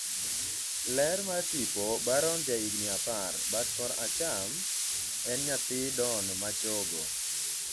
ler mar tipo ,Barron jahigni apar ,(bat koracham) e nyathi Don machogo